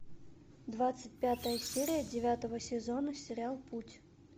двадцать пятая серия девятого сезона сериал путь